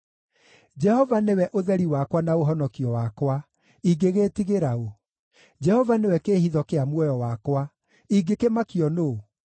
Jehova nĩwe ũtheri wakwa na ũhonokio wakwa; ingĩgĩĩtigĩra ũ? Jehova nĩwe kĩĩhitho kĩa muoyo wakwa; ingĩkĩmakio nũũ?